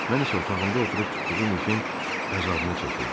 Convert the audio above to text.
Mən isə otağımda oturub tutduğum işin əzabını çəkirdim.